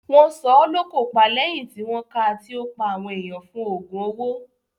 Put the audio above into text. Wọ́n sọ ọ́ lókò pa lẹ́yìn tí wọ́n ká a tí ó pa àwọn ènìyàn fún òògùn owó.